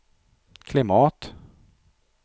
klimat